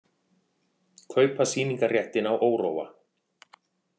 Kaupa sýningarréttinn á Óróa